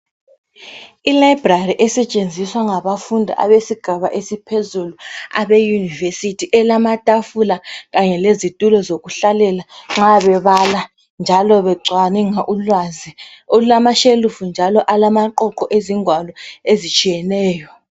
i library esetshenziswa ngabafundi besigaba esiphezulu e university elamatafula kanye lezitulo zokuhlalela nxa bebala njalo becwabungula ulwazi olulama shelufu njalo alamaqoqo ezingwalo ezitshiyeneyo